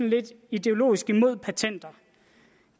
lidt ideologisk imod patenter